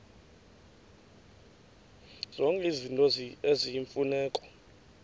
zonke izinto eziyimfuneko